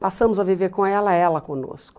Passamos a viver com ela, ela conosco.